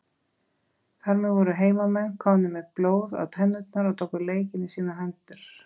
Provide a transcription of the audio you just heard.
Þar með voru heimamenn komnir með blóð á tennurnar og tóku leikinn í sínar hendur.